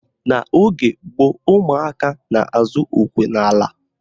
N'oge gboo, umụaka na-azụ okwe n'ala.